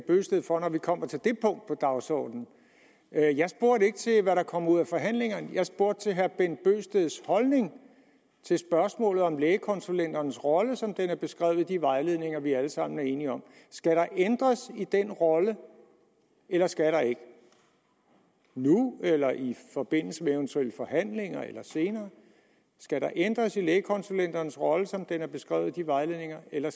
bøgsted for når vi kommer til det punkt på dagsordenen jeg jeg spurgte ikke til hvad der kom ud af forhandlingerne jeg spurgte til herre bent bøgsteds holdning til spørgsmålet om lægekonsulenternes rolle som den er beskrevet i de vejledninger vi alle sammen er enige om skal der ændres i den rolle eller skal der ikke nu eller i forbindelse med eventuelle forhandlinger eller senere skal der ændres i lægekonsulenternes rolle som den er beskrevet i de vejledninger eller